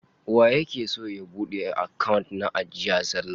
Waye yake son ya bude account na ajiya zallah?